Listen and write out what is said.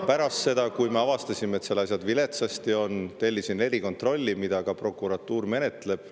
Pärast seda, kui me avastasime, et seal asjad viletsasti on, tellisin erikontrolli, mida prokuratuur ka menetleb.